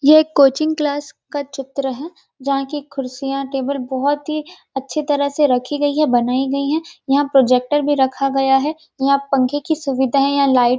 ये coaching class का चित्र है जहाँ की कुर्सिया टेबल बहोत ही अच्छे तरह से रखी गयी है बनाई गयी है यहाँ पर प्रोजेक्टर भी रखा गया है यहाँ पंखा की सुविधा है यहाँ लाइट --